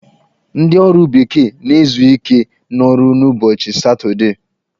Ndị ọrụ bekee na-ezu ike n'ọrụ n'ụbọchị satọdee.